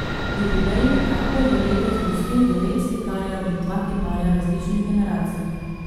Jubilejni tabor je letos gostil devet slikarjev in dva kiparja različnih generacij.